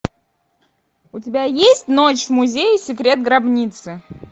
у тебя есть ночь в музее секрет гробницы